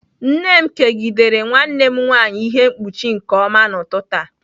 Nne m kegidere nwanne m nwanyị ihe mkpuchi nke ọma n'ụtụtụ a.